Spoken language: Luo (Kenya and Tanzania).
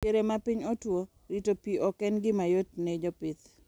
Diere ma piny otuo, rito pi ok en gima yot ne jopith.